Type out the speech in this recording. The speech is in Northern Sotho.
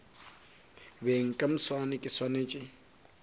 beng ka moswane ke swanetše